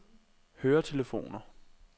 høretelefoner